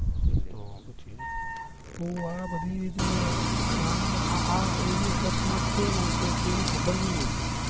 આ બધી જે આ એવી અકસ્માત થયો ને કોઈને ખબર નહિ હોતી